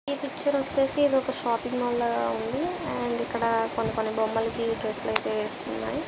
ఈ పిక్చర్ వచ్చేసి ఇది ఒక షాపింగ్ మాల్ లాగా ఉంది అండ్ ఇక్కడ కొన్ని కొన్ని బొమ్మలకి డ్రెస్సులు ఐతే వేసి ఉన్నాయి.